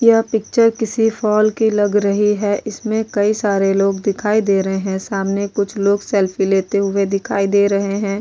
यह पिक्चर किसी फॉल की लग रही है इसमें कई सारे लोग दिखाई दे रहे हैं सामने कुछ लोग सेल्फी लेते हुए दिखाई दे रहे हैं ।